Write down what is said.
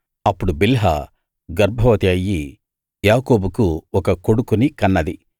అప్పుడు బిల్హా గర్భవతి అయ్యి యాకోబుకు ఒక కొడుకుని కన్నది